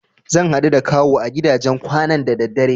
Zan haɗu da Kawu a gidajen kwanan da daddare.